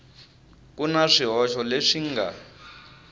ku na swihoxo leswi nga